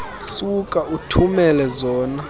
suka uthumele zona